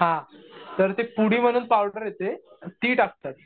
हा तर ते पुडी म्हणून पावडर येते. ती टाकतात.